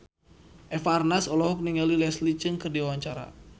Eva Arnaz olohok ningali Leslie Cheung keur diwawancara